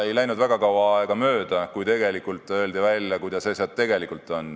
Ei läinud väga kaua aega mööda, kui öeldi välja, kuidas asjad tegelikult on.